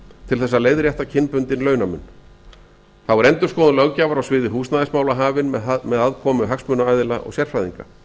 til þess að leiðrétta kynbundinn launamun þá er endirksoðun löggjafar á sviði húsnæðismála hafin með aðkomu hagsmunaaðila og sérfræðinga